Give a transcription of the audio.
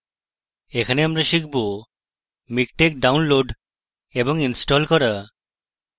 in টিউটোরিয়ালটিতে আমরা শিখব মিকটেক download এবং install